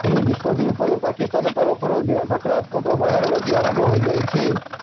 ଏହି ନିଷ୍ପତ୍ତି ଉପରେ ପାକିସ୍ତାନ ତରଫରୁ ନକରାତ୍ମକ ବୟାନବାଜି ଆରମ୍ଭ ହୋଇଯାଇଛି